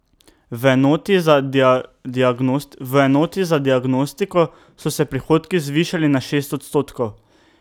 V enoti za diagnostiko so se prihodki zvišali za šest odstotkov.